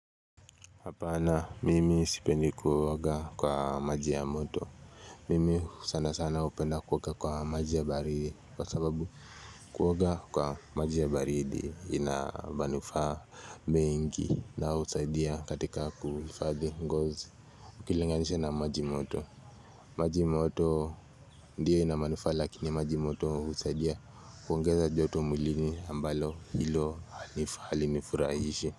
Hapana mimi sipendi kuoga kwa maji ya moto. Mimi sanasana hupenda kuoga kwa maji ya baridi. Kwa sababu kuoga kwa maji ya baridi ina manufaa mengi na usaidia katika kuifadhi ngozi. Ukilinganisha na maji moto. Maji moto ndiyo inamanufa lakini maji moto usaidia kuongeza joto mulini ambalo ilo halinifurahishi.